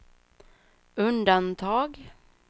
undantag